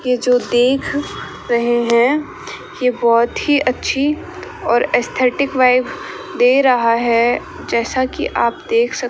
ये जो देख रहे हैं ये बहोत ही अच्छी और एसथेटिक वाइस दे रहा है जैसा कि आप देख सक --